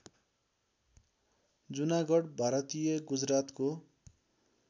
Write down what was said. जुनागढ भारतीय गुजरातको